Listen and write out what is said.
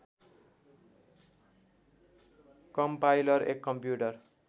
compiler एक computer